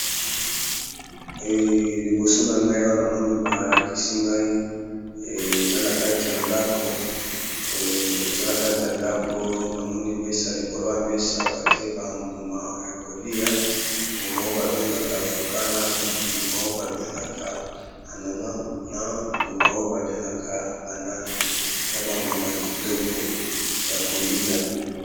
Liboso na ngai awana moni balakisi ngai, eza na kati ya ndako namoni mesa likolo ya mesa batie bambuma ya kolia, mbuma oyo babengaka vocana, mbuma oyo babengaka h ananas na mbuma oyo babengaka banane eza bambuma a kitoko ya kolia.